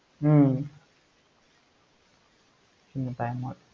உம் உம்